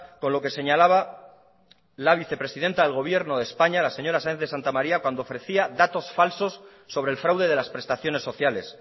con lo que señalaba la vicepresidenta del gobierno de españa la señora sáez de santamaría cuando ofrecía datos falsos sobre el fraude de las prestaciones sociales